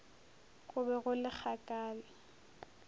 go be go le kgakala